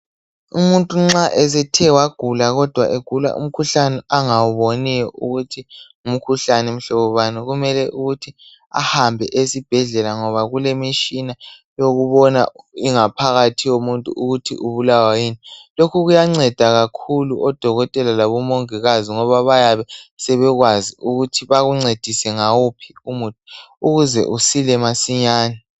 Umuntu nxa esethe wagula kodwa egula umkhuhlane angawuboniyo ukuthi ngumkhuhlane mhlobo bani, kumele ukuthi ahambe esibhedlela ngoba kulemishina yokubona ingaphakathi yomuntu ukuthi ubulawa yini. Lokhu kuyanceda kakhulu odokotela labomingikazi ngoba bayabe sebekwazi ukuthi bakuncedise ngawuphi umuthi ukuze usile masinyane.